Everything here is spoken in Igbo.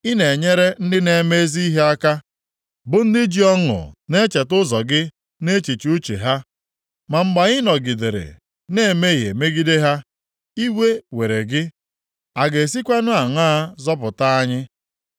Ị na-enyere ndị na-eme ezi ihe aka, bụ ndị ji ọṅụ na-echeta ụzọ gị nʼechiche uche ha. Ma mgbe anyị nọgidere na-emehie megide ha, iwe were gị. A ga-esikwanụ aṅaa zọpụta anyị?